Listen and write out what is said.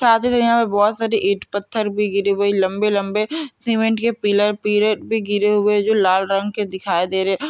यहाँ बहुत सारी ईट पत्थर भी गिरे हुए लम्बे-लम्बे सीमेंट के पिलर पिरे गिरे हुए जो लाल रंग के दिखाये दे रहे है।